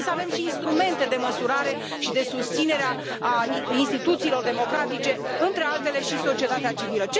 Trebuie să avem și instrumente de măsurare și de susținere a instituțiilor democratice, între altele și societatea civilă.